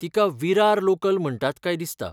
तिका विरार लोकल म्हणटात काय दिसता.